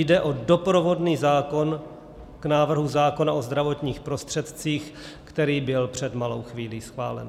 Jde o doprovodný zákon k návrhu zákona o zdravotních prostředcích, který byl před malou chvílí schválen.